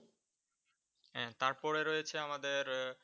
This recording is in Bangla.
হ্যাঁ তারপরে রয়েছে আমাদের